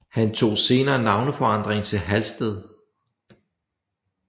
Han tog senere navneforandring til Halsted